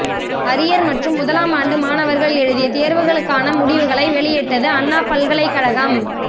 arrear மற்றும் முதலாம் ஆண்டு மாணவர்கள் எழுதிய தேர்வுகளுக்கான முடிவுகளை வெளியிட்டது அண்ணா பல்கலை கழகம்